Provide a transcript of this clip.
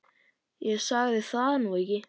Ég sagði það nú ekki.